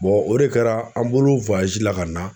o de kɛra an bolo la ka na